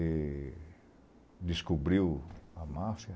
E descobriu a máfia.